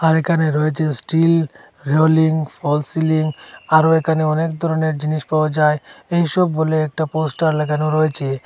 আর এখানে রয়েছে steel rolling false ceiling আরও এখানে অনেক ধরনের জিনিস পাওয়া যায় এইসব বলে একটা পোস্টার লাগানো রয়েছে।